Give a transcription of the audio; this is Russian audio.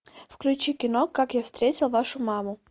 включи кино как я встретил вашу маму